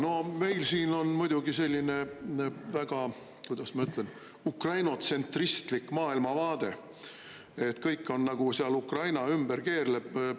Jaa, meil siin on muidugi selline väga – kuidas ma ütlen – Ukraina-tsentristlik maailmavaade, et kõik on nagu seal Ukraina ümber keerleb.